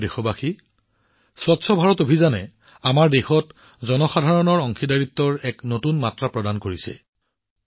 মোৰ মৰমৰ দেশবাসীসকল স্বচ্ছ ভাৰত অভিযানে আমাৰ দেশত জনসাধাৰণৰ অংশগ্ৰহণৰ অৰ্থ সলনি কৰিছে